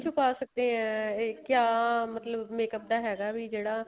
ਛਪਾ ਸਕਦੇ ਆ ਕਿਆ ਮਤਲਬ makeup ਤਾਂ ਹੈਗਾ ਵੀ ਜਿਹੜਾ